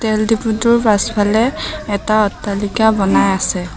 তেল ডিপোটোৰ পাছফালে এটা অট্টালিকা বনাই আছে।